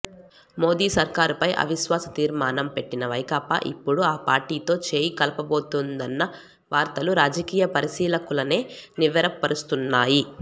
మోదీ సర్కారుపై అవిశ్వాస తీర్మానం పెట్టిన వైకాపా ఇప్పుడు ఆ పార్టీతో చేయి కలపబోతోందన్న వార్తలు రాజకీయ పరిశీలకులనే నివ్వెరపరుస్తున్నాయి